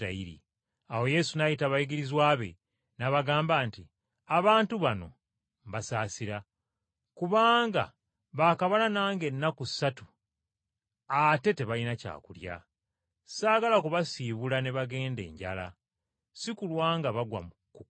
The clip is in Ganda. Awo Yesu n’ayita abayigirizwa be n’abagamba nti, “Abantu bano mbasaasira, kubanga baakamala nange ennaku ssatu ate tebalina kyakulya. Ssaagala kubasiibula ne bagenda enjala, si kulwa nga bagwa ku kkubo.”